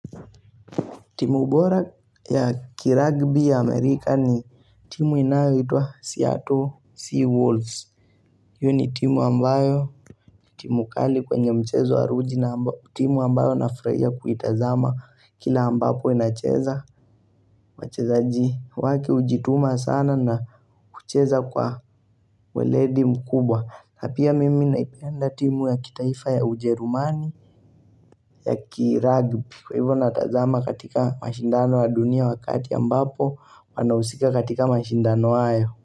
Timu bora ya kiragbi ya Amerika ni timu inayoitwa Seattle Sea Wolves. Hiyo ni timu ambayo, timu kali kwenye mchezo wa ruji na timu ambayo nafurahia kuitazama kila ambapo inacheza. Wachezaji watu hujituma sana na kucheza kwa weledi mkubwa. Na pia mimi naipenda timu ya kitaifa ya ujerumani ya kiragbi. Kwa hivyo natazama katika mashindano wa dunia wa kati ambapo wanahusika katika mashindano hayo.